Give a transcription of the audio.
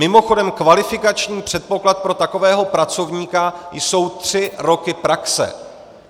Mimochodem kvalifikační předpoklad pro takového pracovníka jsou tři roky praxe.